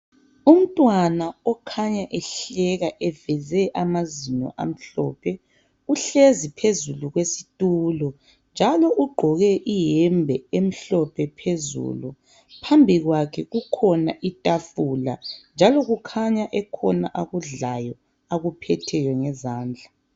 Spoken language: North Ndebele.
Umntwana okhanya ehleka eveze amazinyo amhlophe. Uhlezi phezulu kwesitulo njalo ugqoke iyembe emhlophe phezulu. Phambi kwakhe kukhona itafula njalo kukhanya ekhona akudlayo akuphetheyo ngezandla.